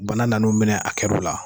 Bana nan'o minɛ a kɛr'o la